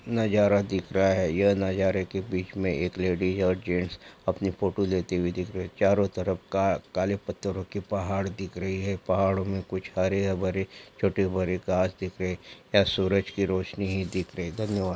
नजारा दिख रहा है यह नजारा के बिच में एक लेडी और जेंट्स अपनी फोटो लेते हुए दिख है चारो तरफ का-काले पथरो के पहाड दिख रहे हैं पहाड़ो में कुछ हरे-भरे छोटे-बड़े घास दिख रहे हैं यहां सूरज की रौशनी ही दिख रही है धन्यवाद।